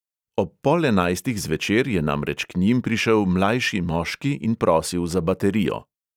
Ob pol enajstih zvečer je namreč k njim prišel mlajši moški in prosil za baterijo.